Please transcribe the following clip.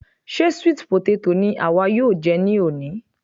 Ṣe sweet potato ni àwa yóò jẹ ní òní?